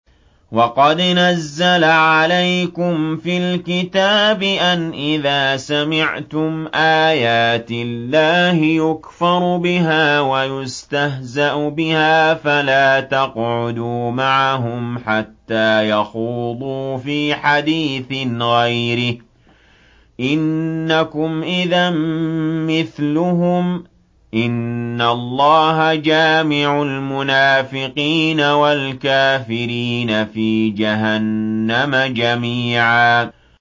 وَقَدْ نَزَّلَ عَلَيْكُمْ فِي الْكِتَابِ أَنْ إِذَا سَمِعْتُمْ آيَاتِ اللَّهِ يُكْفَرُ بِهَا وَيُسْتَهْزَأُ بِهَا فَلَا تَقْعُدُوا مَعَهُمْ حَتَّىٰ يَخُوضُوا فِي حَدِيثٍ غَيْرِهِ ۚ إِنَّكُمْ إِذًا مِّثْلُهُمْ ۗ إِنَّ اللَّهَ جَامِعُ الْمُنَافِقِينَ وَالْكَافِرِينَ فِي جَهَنَّمَ جَمِيعًا